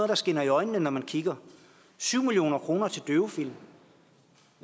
der skinner i øjnene når man kigger syv million kroner til døvefilm